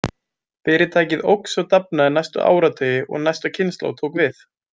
Fyrirtækið óx og dafnaði næstu áratugi og næsta kynslóð tók við.